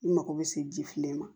I mago bɛ se ji fitinin ma